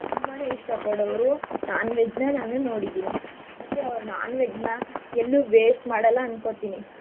ತುಂಬಾನೇ ಇಷ್ಟ ಪಡೋರು non-veg ನ ನಾನು ನೋಡಿದೀನಿ ಮತ್ತೆ ಅವ್ರು non-veg ನ ಎಲ್ಲೂ waste ಮಾಡಲ್ಲ ಅನ್ಕೋತೀನಿ.